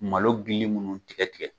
Malo dili minnu tigɛ tigɛ